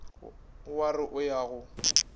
wa re o ya go